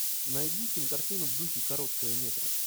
найди кинокартину в духе короткого метра